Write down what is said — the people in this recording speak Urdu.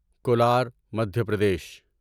کولار مدھیہ پردیش